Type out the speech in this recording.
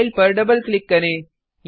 file पर double click करें